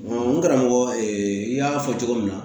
n karamɔgɔ n y'a fɔ cogo min na